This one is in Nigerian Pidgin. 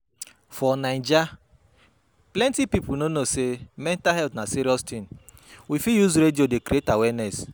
For Naija, plenty pipo no know sey mental health na serious thing, we fit use radio dey create awareness